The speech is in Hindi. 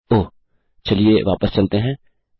ओह चलिए वापस चलते हैं